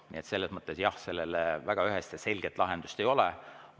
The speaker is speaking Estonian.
Nii et selles mõttes jah, väga ühest ja selget lahendust siin ei ole.